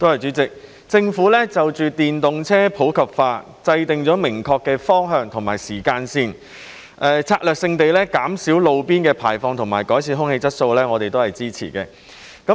主席，政府就電動車普及化制訂明確的方向和時間線，策略性地減少路邊排放和改善空氣質素，我們也會支持。